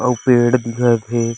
अऊ पेड़ दिखत हे।